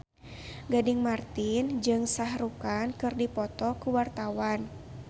Gading Marten jeung Shah Rukh Khan keur dipoto ku wartawan